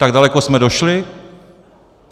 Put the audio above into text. Tak daleko jsme došli?